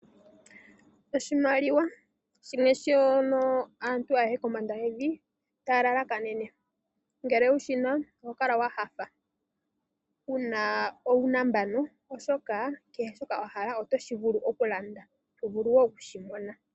Oshimaliwa shimwe shono aantu ayehe kombanda yevi taya lalakanene. Ngele wu shi na oho kala wa nyanyukwa . Wu na uunambano, oshoka kehe shoka wa hala oto vulu oku shi landa, to vulu wo oku shi mona.